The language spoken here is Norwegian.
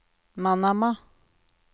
Manama